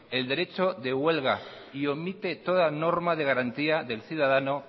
el derecho de huelga y omite toda norma de garantía del ciudadano